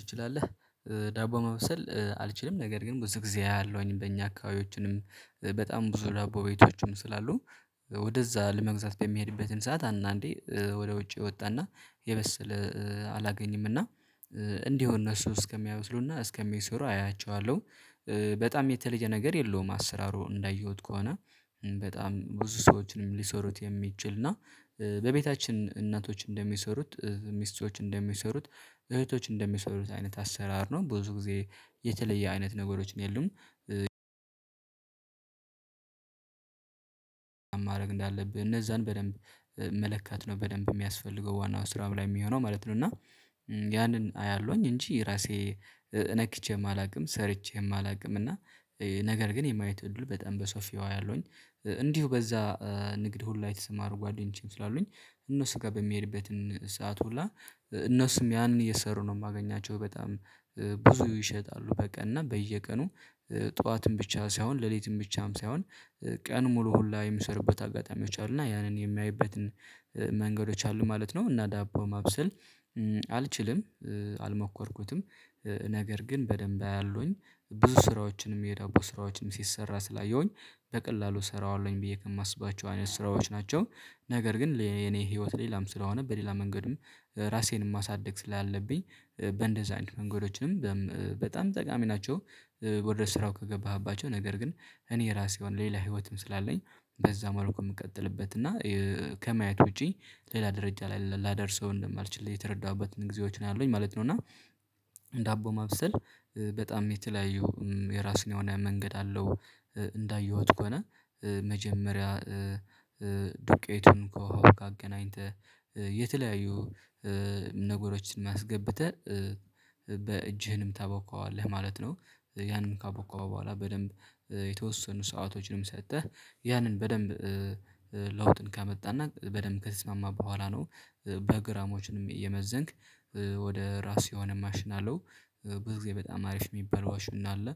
ትችላለህ? ዳቦ ማብሰል አልችልም ነገር ግን ብዙ ጊዜ አያለሁኝ በእኛ አካባቢዎችንም በጣም ብዙ ዳቦ ቤቶችም ስላሉ ወደዛ ለመግዛት በሚሄድበትን ሰዓት አንዳንዴ ወደ ውጭ እወጣና የበሰለ አላገኝም እና እንዲሁ እነሱ እስከሚያበስሉና እስከሚሰሩ አያቸዋለሁ በጣም የተለየ ነገር የለውም። አሰራሩ እንዳየሁት ከሆነ በጣም ብዙ ሰዎችንም ሊሰሩት የሚችል እና በቤታችን እናቶች እንደሚሰሩት ሚስቶች እንደሚሰሩት እህቶች እንደሚሰሩት አይነት አሰራር ነው ብዙ ጊዜ የተለየ አይነት ነገሮችን የሉም። ማድረግ እንዳለብህ እነዛን በደንብ መለካት ነው በደንብ የሚያስፈልገው ዋናው ስራው ላይ የሚሆነው ማለት ነው። እና ያንን አያለሁኝ እንጂ ራሴ ነክቼም አላውቅም ሰርቼም አላውቅም። እና ነገር ግን የማየት እድሉ በጣም በሰፊው አያለሁኝ እንዲሁ በዛ ንግድ ሁላ የተሰማሩ ጓደኞችም ስላሉኝ እነሱ ጋር በምሄድበትን ሰዓት ሁላ እነሱም ያንን እየሰሩ ነው የማገኛቸው በጣም ብዙ ይሸጣሉ። በቀን እና በየቀኑ ጧትን ብቻ ሳይሆን ሌሊትም ብቻም ሳይሆን ቀን ሙሉ ሁላ የሚሰሩበት አጋጣሚዎች አሉ እና ያንን የማይበትን መንገዶች አሉ ማለት ነው። እና ዳቦ ማብሰል አልችልም አልሞከርኩትም። ነገር ግን በደንብ አያለሁኝ ብዙ ስራዎችንም የዳቦ ስራዎችን ሲሰራ ስላየሁኝ በቀላሉ እሰራዋለሁኝ ብዬ ከማስባቸው አይነት ስራዎች ናቸው። ነገር ግን ለኔ የኔ ህይወት ሌላም ስለሆነ በሌላ መንገድም ራሴንም ማሳደግ ስላለብኝ በእንደዛ አይነት መንገዶችንም በም በጣም ጠቃሚ ናቸው። ወደ ስራው ከገባህባቸው ነገር ግን እኔ ራሴ የሆነ ሌላ ህይወትም ስላለኝ በዛ መልኩ የምቀጥልበት እና ከማየት ውጪ ሌላ ደረጃ ላይ ላደርሰው እንደማልችል የተረዳሁበትን ጊዜዎች ነው ያለሁኝ ማለት ነው። እና ዳቦ ማብሰል በጣም የተለያዩ የራሱ የሆነ መንገድ አለው። እንዳየሁት ከሆነ መጀመሪያ ዱቄቱን ከውሃ ጋ አገናኝተህ የተለያዩ ነገሮችን አስገብተህ በእጅህም ታቦካዋለህ ማለት ነው ያንም ካቦካኸው በኋላ በደንብ የተወሰኑ ሰዓቶችንም ሰጥተህ ያንን በደንብ ለውጥን ከመጣና በደንብ ከተስማማ በኋላ ነው። በግራሞችንም እየመዘንክ ወደ ራሱ የሆነ ማሽን አለው ብዙ ጊዜ በጣም አሪፍ የሚባለው ማሽን አለ።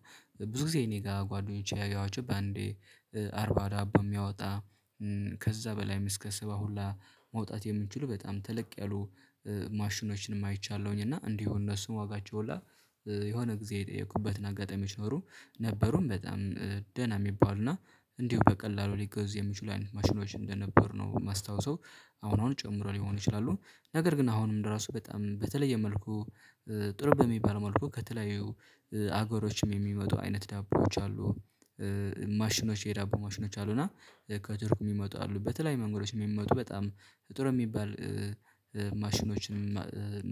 ብዙ ጊዜ እኔ ጋር ጓደኞቼ ያየዋቸው በአንዴ አርባ ዳቦ የሚያወጣ ከዛ በላይም እስከ ሰባ ሁላ ማውጣት የሚችሉ በጣም ተለቅ ያሉ ማሽኖችንም አይቻለሁኝ እና እንዲሁ እነሱም ዋጋቸው ሁላ የሆነ ጊዜ የጠየኩበትን አጋጣሚዎች ኖዱ ነበሩም በጣም ደህና የሚባሉ እና እንዲሁ በቀላሉ ሊገዙ የሚችሉ ማሽኖች እንደነበሩ ነው የማስታወሰው አሁን አሁን ጨምሮ ሊሆን ይችላሉ ነገር ግን አሁንም ለራሱ በጣም በተለየ መልኩ ጥሩ በሚባል መልኩ ከተለያዩ አገሮችም የሚመጡ አይነት ዳቦዎች አሉ። ማሽኖች የዳቦ ማሽኖች አሉ እና ከቱርክ የሚመጡ አሉ በተለያዩ መንገዶች የሚመጡ በጣም ጥሩ የሚባል ማሽኖችን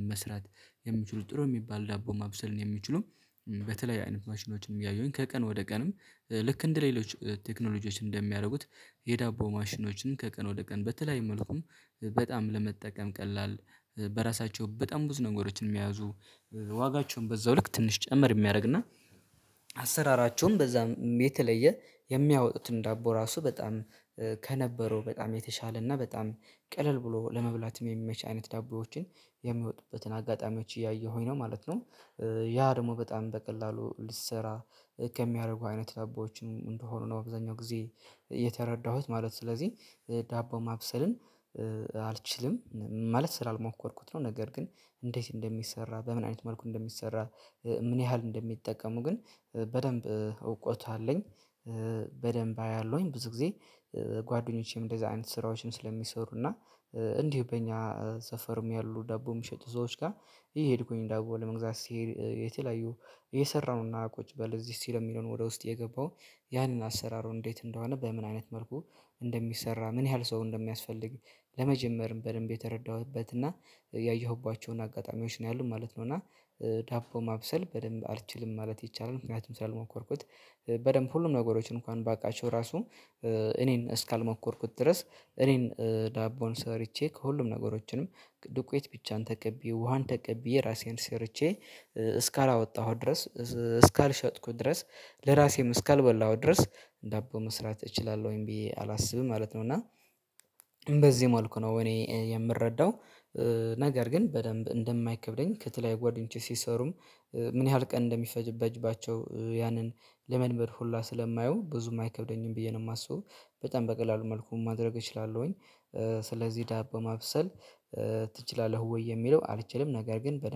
መስራት የሚችሉ ጥሩ የሚባል ዳቦ ማብሰል ን የሚችሉ በተለያየ አይነት ማሽኖችን እያየሁኝ ከቀን ወደ ቀንም ልክ እንደሌሎች ቴክኖሎጂዎች እንደሚያደርጉት የዳቦ ማሽኖችም ከቀን ወደ ቀን በተለያየ መልኩ በጣም ለመጠቀም ቀላል በራሳቸው በጣም ብዙ ነገሮችንም የያዙ ዋጋቸውን በዛው ልክ ትንሽ ጨመር የሚያደርግና አሰራራቸውን በዛም የተለየ የሚያወጡትን ዳቦ ራሱ በጣም ከነበረው በጣም የተሻለ እና በጣም ቀለል ብሎ ለመብላትም የሚመች አይነት ዳቦዎችን የሚወጡበትን አጋጣሚዎች እያየሁኝ ነው ማለት ነው። ያ ደግሞ በጣም በቀላሉ ልሰራ ከሚያደርጉ አይነት ዳቦዎችን እንደሆኑ ነው አብዛኛው ጊዜ የተረዳሁት ማለት ስለዚህ ዳቦ ማብሰልን አልችልም ማለት ስላልሞከርኩት ነው። ነገር ግን እንዴት እንደሚሰራ በምን አይነት መልኩ እንደሚሰራ ምን ያህል እንደሚጠቀሙ ግን በደንብ እውቀቱ አለኝ። በደንብ አያለሁኝ ብዙ ጊዜ ጓደኞቼም እንደዛ አይነት ስራዎችም ስለሚሰሩ እና እንዲሁ በእኛ ሰፈርም ያሉ ዳቦም የሚሸጡ ሰዎች ጋር እየሄድኩኝ ዳቦ ለመግዛት ስሄድ የተለያዩ እየሰራውና ቁጭ በል እዚህ ሲል የሚለውን ወደ ውስጥ እየገባው ያንን አሰራሩ እንዴት እንደሆነ በምን አይነት መልኩ እንደሚሰራ ምን ያህል ሰው እንደሚያስፈልግ ለመጀመርም በደንብ የተረዳሁበት እና ያየሁባቸውን አጋጣሚዎች ነው ያሉት ማለት ነው። እና ዳቦ ማብሰል በደንብ አልችልም ማለት ይቻላል ምክንያቱም ስላልሞከርኩት በደንብ ሁሉም ነገሮችን እንኳን ባውቃቸው ራሱ እኔን እስካልሞከርኩት ድረስ እኔን ዳቦን ሰርቸ ከሁሉም ነገሮችንም ዱቁት ብቻን ተቀብዬ ውሃን ተቀብዬ ራሴን ሰርቼ እስካላወጣሁት ድረስ እስካልሸጥኩት ድረስ ለራሴም እስካልበላሁት ድረስ ዳቦ መስራት እችላለሁኝ ብዬ አላስብም ማለት ነው። እና በዚህ መልኩ ነው እኔ የምረዳው ነገር ግን በደንብ እንደማይከብደኝ ከተለያዩ ጓደኞቼ ሲሰሩም ምን ያህል ቀን እንደሚፈጅባቸው ያንን ለመልመድ ሁላ ስለማየው ብዙም አይከብደኝም ብዬ ነው የማስበው። በጣም በቀላሉ መልኩ ማድረግ እችላለሁኝ ስለዚህ ዳቦ ማብሰል ትችላለህ? ወይ የሚለው አልችልም ነገር ግን በ